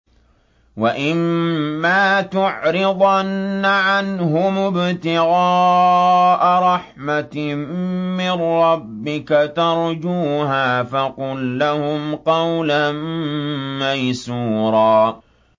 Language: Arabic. وَإِمَّا تُعْرِضَنَّ عَنْهُمُ ابْتِغَاءَ رَحْمَةٍ مِّن رَّبِّكَ تَرْجُوهَا فَقُل لَّهُمْ قَوْلًا مَّيْسُورًا